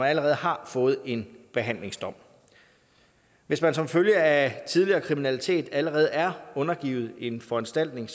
allerede har fået en behandlingsdom hvis man som følge af tidligere kriminalitet allerede er undergivet en foranstaltning